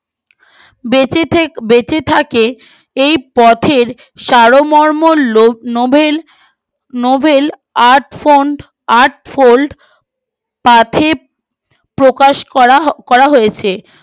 বেঁচে থেকে বেঁচে থাকে এই পথের সারমর্ম নোবেল নোবেল আটফোল্ড আটফোল্ড প্রকাশ করা হয়েছে